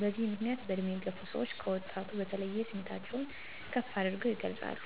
በዚህ ምክንያት በእድሜ የገፋ ሰወች ከወጣቱ በተለየ ስሜታቸውን ከፍ አድርገው ይገልፃሉ።